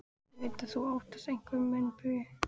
Ég veit að þú óttast einhverja meinbugi.